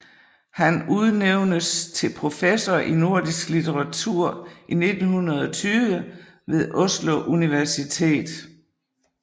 Han udnævnes til professor i nordisk litteratur i 1920 ved Oslo Universitet